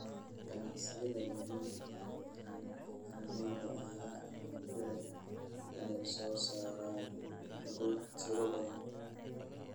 Ganacsiyada waaweyn ee beeralayda ayaa awood u leh inay soo saaraan hadhuudh tiro badan.